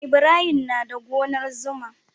Ibrahim na da gonar zuma.